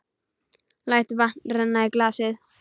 Læt vatn renna í glasið.